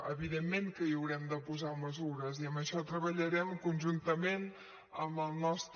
evidentment que hi haurem de posar mesures i en això treballarem conjuntament amb el nostre